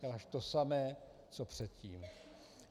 Děláš to samé co předtím.